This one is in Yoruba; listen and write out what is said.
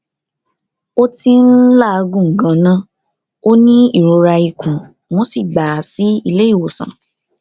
ó ti ń làágùn ganan ó ní ìrora ikùn wọn sì gbà á sílé ìwòsàn